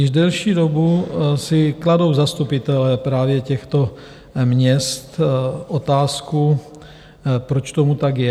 Již delší dobu si kladou zastupitelé právě těchto měst otázku, proč tomu tak je.